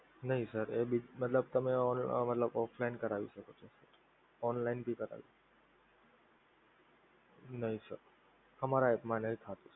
નહીં sir એ ભી મતલબ તમે offline કરાવી શકો છો. online ભી કરાય નહીં sir અમારા app માં થાય